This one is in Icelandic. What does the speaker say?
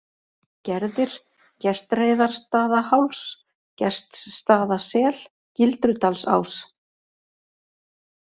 Gerðir, Gestreiðarstaðaháls, Gestsstaðasel, Gildrudalsás